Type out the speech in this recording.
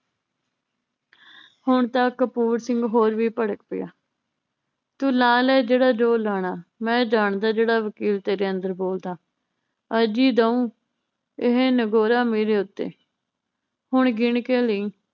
ਹੁਣ ਤਾਂ ਕਪੂਰ ਸਿੰਘ ਹੋਰ ਵੀ ਭੜਕ ਪਿਆ ਤੂੰ ਲਾ ਲੈ ਜਿਹੜਾ ਜ਼ੋਰ ਲਾਣਾ ਮੈ ਜਾਣਦਾ ਜਿਹੜਾ ਵਕੀਲ ਤੇਰੇ ਅੰਦਰ ਬੋਲਦਾ। ਅੱਜ ਈ ਦਉ ਇਹ ਨਗੌਰਾ ਮੇਰੇ ਉੱਤੇ ਹੁਣ ਗਿਣ ਕੇ ਲਈ।